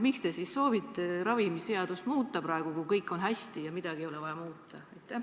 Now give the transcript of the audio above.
Miks te siis soovite ravimiseadust muuta, kui kõik on hästi ja midagi ei ole vaja muuta?